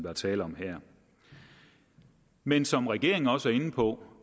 er tale om men som regeringen også er inde på